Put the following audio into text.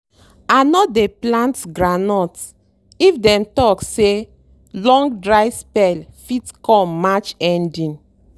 i no dey plant groundnut if dem talk say long dry spell fit come march ending."